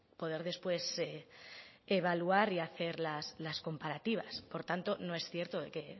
poder después evaluar y hacer las comparativas por tanto no es cierto que